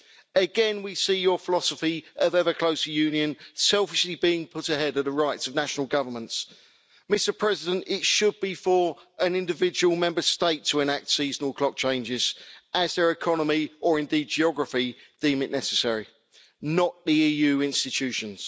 Again we see your philosophy of ever closer Union selfishly being put ahead of the rights of national governments. Mr President, it should be for an individual Member State to enact seasonal clock changes, as their economy or indeed geography deem it necessary, not the EU institutions.